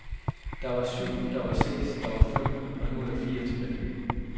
Der var syv, der var seks, der var fem, og nu er der fire tilbage.